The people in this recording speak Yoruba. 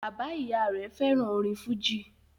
Bàbá-ìy rẹ̀ fẹ́ràn orin fújì.